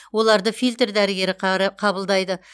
оларды фильтр дәрігері қабылдайды